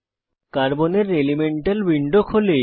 carbon এর elemental window খোলে